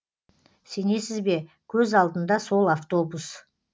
сенесіз бе көз алдында сол автобус